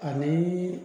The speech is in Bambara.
Ani